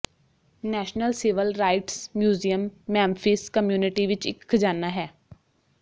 national civil rights museum Memphis community ਵਿਚ ਇਕ ਖ਼ਜ਼ਾਨਾ ਹੈ